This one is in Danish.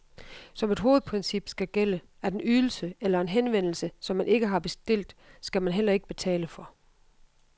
Som et hovedprincip skal gælde, at en ydelse eller en henvendelse, som man ikke har bestilt, skal man heller ikke betale for.